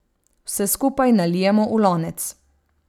Vse skupaj nalijemo v lonec.